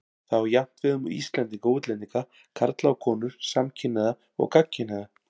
Það á jafnt við um Íslendinga og útlendinga, karla og konur, samkynhneigða og gagnkynhneigða.